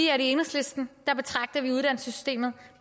i enhedslisten betragter vi bare uddannelsessystemet